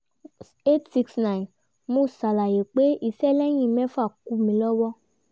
eight hundred sixty nine mo ṣàlàyé pé iṣẹ́ lẹ́yìn mẹ́fà kù mí lọ́wọ́